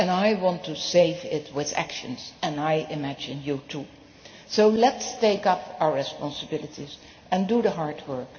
I want to save it with actions, and I imagine you do too. So let us take up our responsibilities and do the hard work.